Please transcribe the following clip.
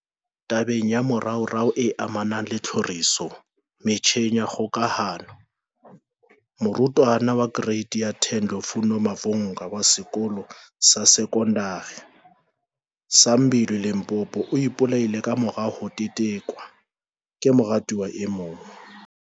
Tabeng ya moraorao e amanang le tlhoriso metjheng ya kgokahano, morutwana wa kereiti ya 10 Lufuno Mavhunga, wa Sekolo sa Sekondari sa Mbilwi, Limpopo, o ipolaile kamora ho tetekwa ke morutwana e mong.